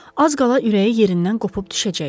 Az qala ürəyi yerindən qopup düşəcəkdi.